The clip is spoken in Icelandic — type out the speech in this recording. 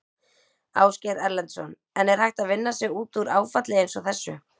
Ásgeir Erlendsson: En er hægt að vinna sig út úr áfalli eins og þessu?